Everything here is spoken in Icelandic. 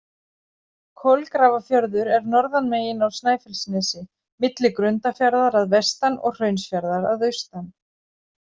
Kolgrafafjörður er norðanmegin á Snæfellsnesi, milli Grundarfjarðar að vestan og Hraunsfjarðar að austan.